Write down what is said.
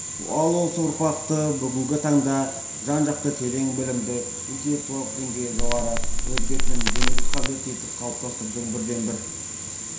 ал осы ұрпақты бүгінгі таңда жан-жақты терең білімді интеллектуалдық деңгейі жоғары өз бетімен ізденуге қабілетті етіп қалыптастырудың бірден-бір